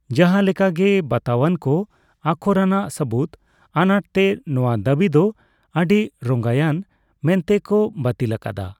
ᱡᱟᱦᱟᱸ ᱞᱮᱠᱟᱜᱮ, ᱵᱟᱛᱟᱣᱟᱱᱠᱚ ᱟᱠᱷᱚᱨᱟᱱᱟᱜ ᱥᱟᱹᱵᱩᱫᱽ ᱟᱱᱟᱴᱛᱮ, ᱱᱚᱣᱟ ᱫᱟᱵᱤ ᱫᱚ ᱟᱰᱤᱨᱚᱝᱭᱟᱱ ᱢᱮᱱᱛᱮ ᱠᱚ ᱵᱟᱹᱛᱤᱞ ᱟᱠᱟᱫᱟ ᱾